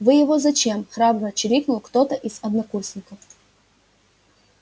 вы его зачем храбро чирикнул кто-то из однокурсников